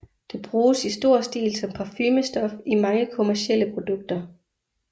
Det bruges i stor stil som parfumestof i mange kommercielle produkter